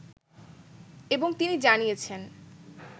এবং তিনি জানিয়েছেন